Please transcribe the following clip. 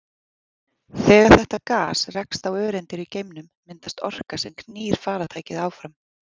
Þegar þetta gas rekst á öreindir í geimnum myndast orka sem knýr farartækið áfram.